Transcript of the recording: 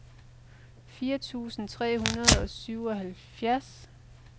fire tusind tre hundrede og syvoghalvfems